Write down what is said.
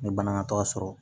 N ye banaŋaatɔ sɔrɔ